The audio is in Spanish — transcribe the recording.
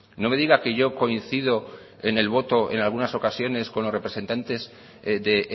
no me diga que yo coincido en el voto en algunas ocasiones con los representantes de